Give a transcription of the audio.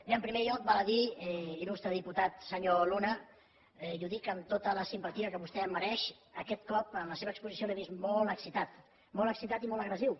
bé en primer lloc val a dir il·lustre diputat senyor luna i ho dic amb tota la simpatia que vostè em mereix aquest cop en la seva exposició l’he vist molt excitat molt excitat i molt agressiu